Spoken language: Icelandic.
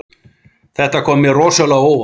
Þetta kom mér rosalega á óvart